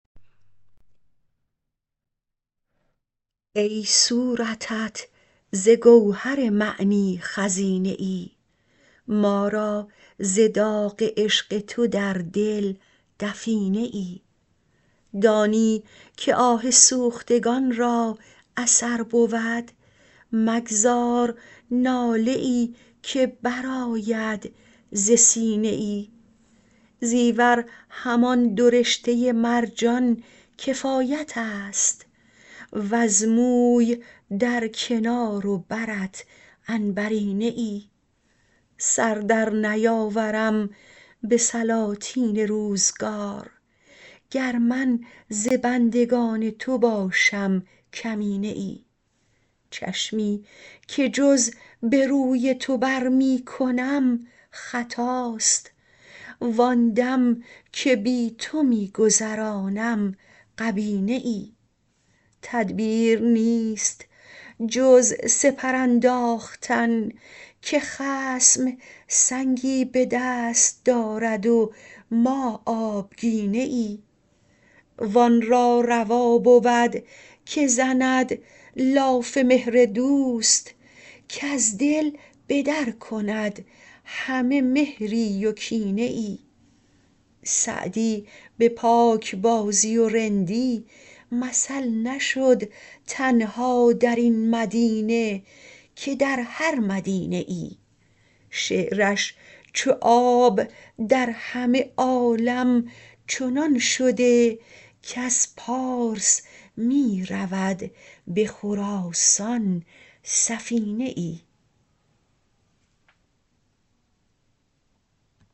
ای صورتت ز گوهر معنی خزینه ای ما را ز داغ عشق تو در دل دفینه ای دانی که آه سوختگان را اثر بود مگذار ناله ای که برآید ز سینه ای زیور همان دو رشته مرجان کفایت است وز موی در کنار و برت عنبرینه ای سر در نیاورم به سلاطین روزگار گر من ز بندگان تو باشم کمینه ای چشمی که جز به روی تو بر می کنم خطاست وآن دم که بی تو می گذرانم غبینه ای تدبیر نیست جز سپر انداختن که خصم سنگی به دست دارد و ما آبگینه ای وآن را روا بود که زند لاف مهر دوست کز دل به در کند همه مهری و کینه ای سعدی به پاکبازی و رندی مثل نشد تنها در این مدینه که در هر مدینه ای شعرش چو آب در همه عالم چنان شده کز پارس می رود به خراسان سفینه ای